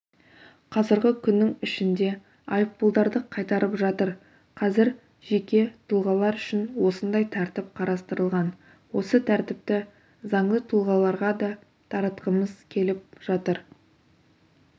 қазір күннің ішінде айыппұлдарды қайтарып жатыр қазір жеке тұлғалар үшін осындай тәртіп қарастырылған осы тәртіпті заңды тұлғаларға да таратқымыз келіп жатыр